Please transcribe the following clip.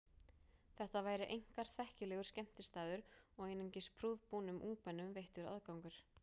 Þetta væri einkar þekkilegur skemmtistaður og einungis prúðbúnum ungmennum veittur aðgangur.